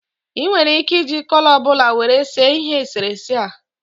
I nwere ike iji kọlọ ọbụla were see ihe eserese a